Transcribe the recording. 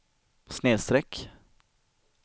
snedsträck